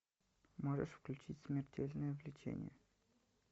можешь включить смертельное влечение